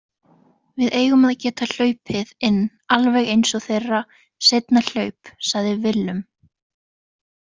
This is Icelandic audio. Við eigum að geta hlaupið inn alveg eins og þeirra seinna hlaup, sagði Willum.